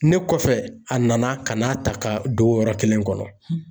Ne kɔfɛ a nana ka na ta ka don o yɔrɔ kelen kɔnɔ.